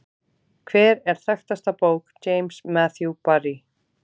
Hver er þekktasta bók James Matthew Barrie?